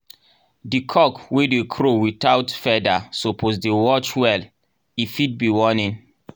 di cock wey dey crow without feather suppose dey watch well — e fit be warning